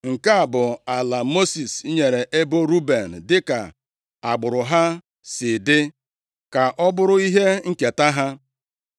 Nke a bụ ala Mosis nyere ebo Ruben dịka agbụrụ ha si dị, ka ọ bụrụ ihe nketa ha.